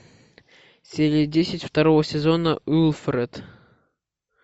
серия десять второго сезона уилфред